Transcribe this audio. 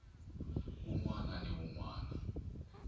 wun wana ni wun wana